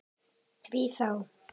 Því þá?